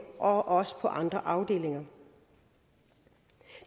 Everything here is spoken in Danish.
også på andre afdelinger